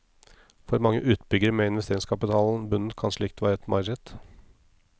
For mange utbyggere med investeringskapitalen bundet kan slikt være et mareritt.